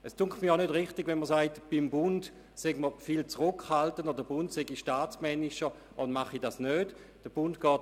Es scheint mir zudem nicht richtig, zu sagen, beim Bund sei man in diesem Bereich viel zurückhaltender.